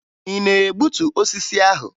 Ị na-egbutu osisi ahụ?